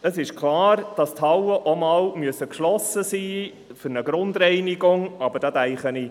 Es ist klar, dass die Hallen für eine Grundreinigung auch einmal geschlossen sein müssen.